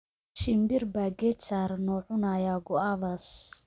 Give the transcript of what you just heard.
Shimbir baa geed saaran oo cunaya guavas